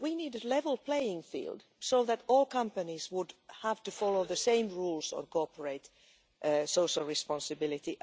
We need a level playing field so that all companies would have to follow the same rules on corporate social responsibility.